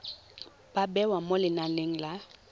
ba bewa mo lenaneng la